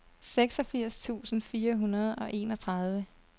seksogfirs tusind fire hundrede og enogtredive